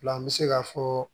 An bɛ se ka fɔɔ